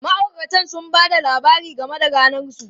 Ma'auratan sun ba da labari game da ranar su.